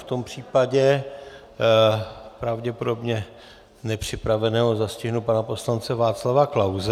V tom případě pravděpodobně nepřipraveného zastihnu pana poslance Václava Klause.